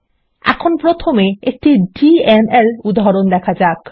এখন প্রথমে একটি ডিএমএল উদাহরণ দেখা যাক